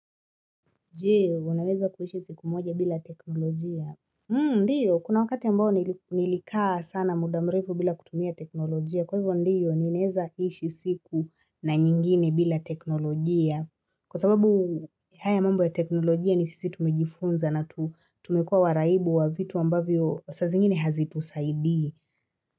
Je, unaweza kuishi siku moja bila teknolojia? Ndiyo, kuna wakati ambao nilikaa sana muda mrefu bila kutumia teknolojia. Kwa hivyo ndiyo, ninaeza ishi siku na nyingine bila teknolojia. Kwa sababu haya mambo ya teknolojia ni sisi tumejifunza na tumekuwa waraibu wa vitu ambavyo saa zingine hazitusaidii.